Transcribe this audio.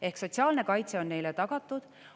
Ehk sotsiaalne kaitse on neile tagatud.